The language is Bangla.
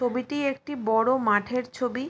ছবিটি একটি বড়ো মাঠের ছবি।